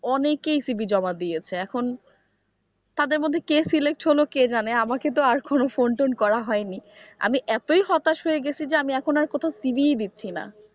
অনেকেই CV জমা দিয়েছে এখন তাদের মধ্যে কে select হলো কে জানে আমাকে তো আর কোনো phone tone করা হয়নি আমি এতই হতাশ হয়ে গেছি যে আমি এখন আর কোথাও CV ই দিচ্ছি না।